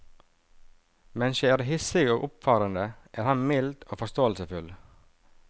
Mens jeg er hissig og oppfarende, er han mild og forståelsesfull.